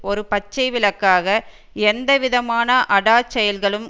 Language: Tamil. ஒரு பச்சை விளக்காக எந்த விதமான அடாச்செயல்களும்